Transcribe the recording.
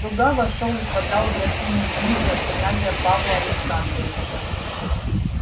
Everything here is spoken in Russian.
слуга вошёл и подал графине книги от князя павла александровича